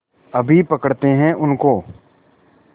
अभी पकड़ते हैं उनको